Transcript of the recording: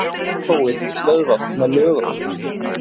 Málþófið stöðvað með lögum